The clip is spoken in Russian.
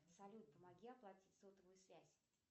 салют помоги оплатить сотовую связь